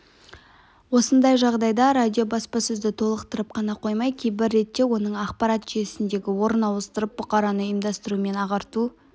осындай жағдайда радио баспасөзді толықтырып қана қоймай кейбір ретте оның ақпарат жүйесіндегі орнын ауыстырып бұқараны ұйымдастыру мен ағарту